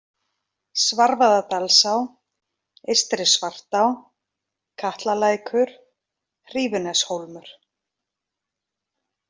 Svarfaðardalsá, Eystri-Svartá, Katlalækur, Hrífuneshólmur